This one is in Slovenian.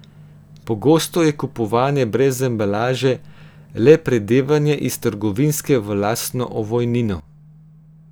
Pogosto je kupovanje brez embalaže le predevanje iz trgovinske v lastno ovojnino.